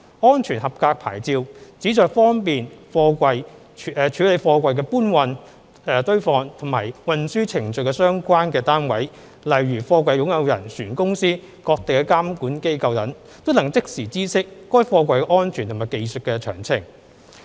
"安全合格牌照"旨在方便處理貨櫃的搬運、堆放或運輸程序的各相關單位，例如貨櫃擁有人、船公司、各地監管機構等，都能即時知悉該貨櫃的安全和技術詳情。